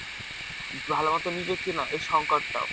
ভালো মত নিবে কিনা সেই সংকটটাও।